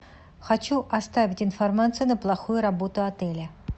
хочу оставить информацию на плохую работу отеля